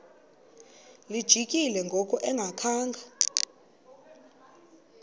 lijikile ngoku engakhanga